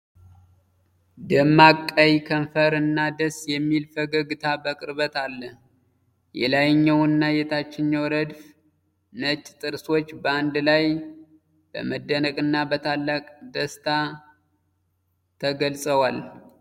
ደማቅ ቀይ ከንፈር እና ደስ የሚል ፈገግታ በቅርበት አለ። የላይኛውና የታችኛው ረድፍ ነጭ ጥርሶች በአንድ ላይ በመደነቅና በታላቅ ደስታ ተገልጸዋል።